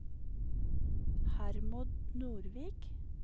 Hermod Nordvik